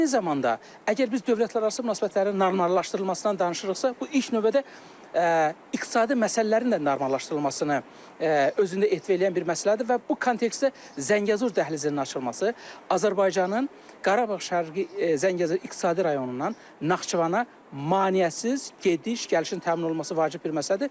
Eyni zamanda, əgər biz dövlətlərarası münasibətlərin normallaşdırılmasından danışırıqsa, bu ilk növbədə iqtisadi məsələlərin də normallaşdırılmasını özündə etva eləyən bir məsələdir və bu kontekstdə Zəngəzur dəhlizinin açılması, Azərbaycanın Qarabağ Şərqi Zəngəzur iqtisadi rayonundan Naxçıvana maneəsiz gediş-gəlişin təmin olunması vacib bir məsələdir.